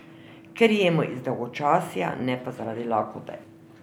Ker jemo iz dolgočasja, ne pa zaradi lakote.